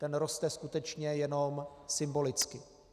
Ten roste skutečně jenom symbolicky.